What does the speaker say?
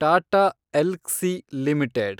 Tata Elxsi limited